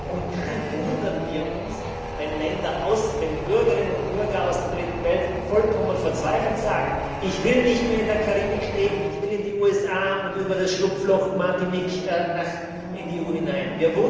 Und dann wundern wir uns, wenn Bürgerinnen und Bürger aus der Dritten Welt vollkommen verzweifelt sagen Ich will nicht mehr in der Karibik leben, ich will in die USA und über das Schlupfloch Martinique in die EU hinein.